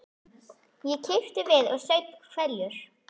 Ég kipptist við og saup hveljur.